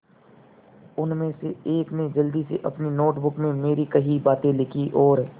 उनमें से एक ने जल्दी से अपनी नोट बुक में मेरी कही बातें लिखीं और